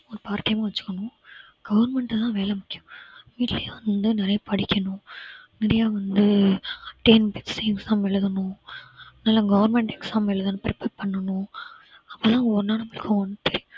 ஒரு part time அ வச்சுக்கணும் government தான் வேலை முக்கியம் வீட்டுலயும் வந்து நிறைய படிக்கணும் நிறைய வந்து TNPSC க்கு exam எழுதணும் அதனால government exam எழுதணும் prepare பண்ணணும் அப்பதான்